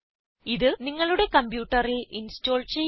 ഇത് നിങ്ങളുടെ കംപ്യൂട്ടറിൽ ഇൻസ്റ്റോൾ ചെയ്യുക